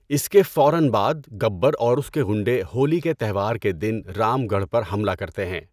اس کے فوراً بعد، گبر اور اس کے غنڈے ہولی کے تہوار کے دوران رام گڑھ پر حملہ کرتے ہیں۔